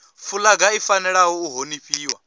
fulaga i fanela u honifhiwa